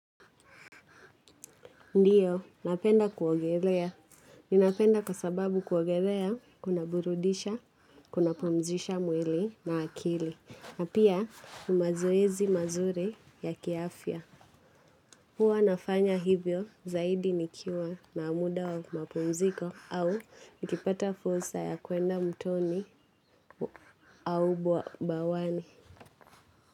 Ndiyo, napenda kuogelea. Ninapenda kwa sababu kuogelea, kuna burudisha, kuna pumzisha mwili na akili. Na pia, ni mazoezi mazuri ya ki afya. Huwa nafanya hivyo zaidi nikiwa na muda wa mapumziko au nikipata fursa ya kuenda mtoni au bawani.